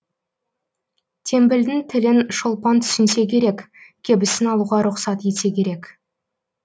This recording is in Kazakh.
теңбілдің тілін шолпан түсінсе керек кебісін алуға рұқсат етсе керек